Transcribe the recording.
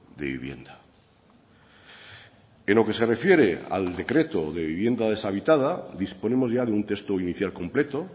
de vivienda en lo que se refiere al decreto de vivienda deshabitada disponemos ya de un texto inicial completo